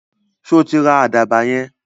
Sọ tí ra àdàbà yẹn?